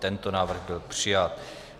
Tento návrh byl přijat.